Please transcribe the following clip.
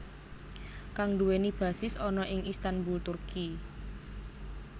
Kang nduwèni basis ana ing Istanbul Turki